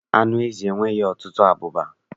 Anụ ezi nwere ọtụtụ abụba.